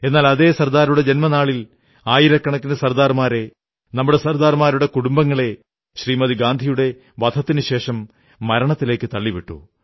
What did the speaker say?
എന്നാൽ അതേ സർദാറിന്റെ ജന്മനാളിൽ ആയിരക്കണക്കിന് സർദാർമാരെ നമ്മുടെ സർദാർമാരുടെ കുടുംബങ്ങളെ ശ്രീമതി ഗാന്ധിയുടെ വധത്തിനുശേഷം മരണത്തിലേക്കു തള്ളിവിട്ടു